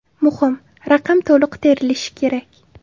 Muhim: raqam to‘liq terilishi kerak.